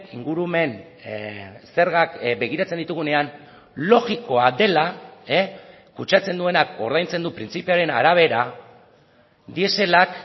ingurumen zergak begiratzen ditugunean logikoa dela kutsatzen duenak ordaintzen du printzipioaren arabera dieselak